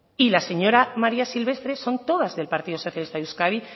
y la señora maría silvestre son todas del partido socialista de euskadi